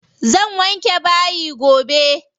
Zan wanke bayi gobe.